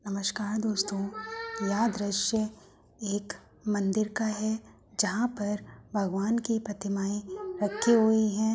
नमस्कार दोस्तों यह दृश्य एक मंदिर का है जहाँ पर भगवान की प्रतिमाए रखी हुई हैं।